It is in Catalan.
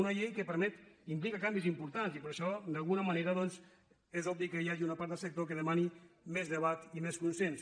una llei que implica canvis importants i per això d’alguna manera doncs és obvi que hi ha una part del sector que demana més debat i més consens